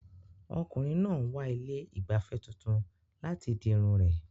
Ọkùnrin náà ń wá ilé ìgbafẹ́ tuntun láti di irun rẹ̀.